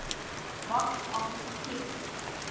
box office hit